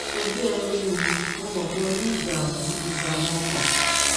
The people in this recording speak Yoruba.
ojú ẹ ń rí mi mo mọ pé o ní ìdààmú ìdààmú ọkàn